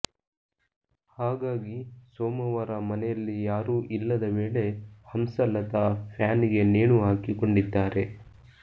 ಹಾಗಾಗಿ ಸೋಮವಾರ ಮನೆಯಲ್ಲಿ ಯಾರೂ ಇಲ್ಲದ ವೇಳೆ ಹಂಸಲತಾ ಫ್ಯಾನಿಗೆ ನೇಣುಹಾಕಿಕೊಂಡಿದ್ದಾರೆ